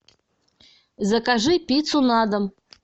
закажи пиццу на дом